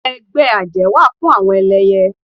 Ẹgbẹ́ àjẹ́ wà fún àwọn ẹlẹyẹ